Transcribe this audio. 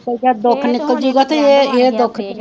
ਦੁਖ ਨੀਕਲ ਜੇ ਇਹ ਇਹ ਦੁਖ,